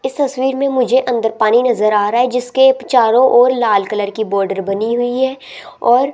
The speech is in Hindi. इस तस्वीर में मुझे अंदर पानी नजर आ रहा है जिसके चारों ओर लाल कलर की बॉर्डर बनी हुई है और --